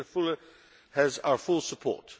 Commissioner Füle has our full support.